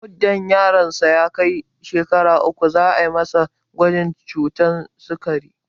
Muddin yaron sa ya kai shekara uku za'a masa gwajin ciwon sikari